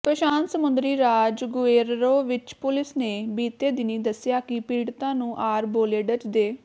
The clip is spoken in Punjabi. ਪ੍ਰਸ਼ਾਂਤ ਸਮੁੰਦਰੀ ਰਾਜ ਗੁਏਰਰੋ ਵਿਚ ਪੁਲਿਸ ਨੇ ਬੀਤੇ ਦਿਨੀਂ ਦੱਸਿਆ ਕਿ ਪੀੜਤਾਂ ਨੂੰ ਆਰਬੋਲੇਡਜ਼ ਦੇ